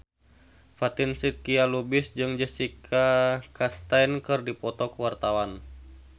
Fatin Shidqia Lubis jeung Jessica Chastain keur dipoto ku wartawan